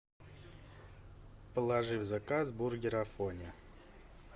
положи в заказ бургер афоня